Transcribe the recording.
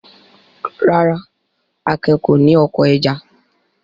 Rárá, Akin kò ní oko ẹja.